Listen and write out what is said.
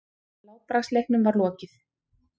Látbragðsleiknum var lokið.